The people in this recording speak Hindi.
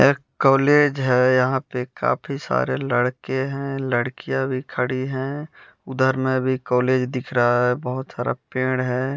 एक कॉलेज है यहाँ पे काफी सारे लड़के हैं लड़कियाँ भी खड़ी हैं उधर में भी कॉलेज दिख रहा है बहुत सारा पेड़ है।